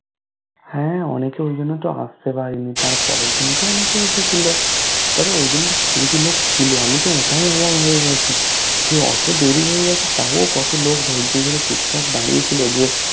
হা অনেকে ওই জন্যতো আসতে পারেনি তারপরের দিনকে অনেকে এসেছিলো তবে ওই দিনকে কিছু কিছু লোক ছিল আমি ওটাই অবাক হয়ে গেছি যে অতো দেরি হয়ে গেছে তাও কত লোক ধৈর্য্য ধরে চুপ চাপ দাঁড়িয়ে ছিল